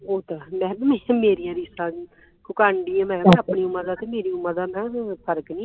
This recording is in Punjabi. ਉਹ ਤੇ ਹੈ ਮੈਂ ਕਿਹਾ ਵੀ ਮੇਰੀ ਰੀਸ ਕਾਹਦੀ ਤੂੰ ਕਰਨ ਢਈ ਮੈਂ ਕਿਹਾ ਆਪਣੀ ਉਮਰ ਤੇ ਮੇਰੀ ਉਮਰ ਦਾ ਮੈਂ ਕਿਹਾ ਫਰਕ ਨਹੀਂ